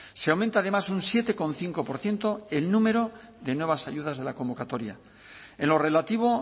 se aumenta además un siete coma cinco por ciento el número de nuevas ayudas de la convocatoria en lo relativo